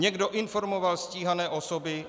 Někdo informoval stíhané osoby.